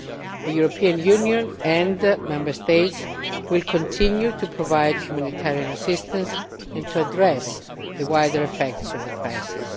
The European Union and Member States will continue to provide humanitarian assistance and address the wider effects of the crisis.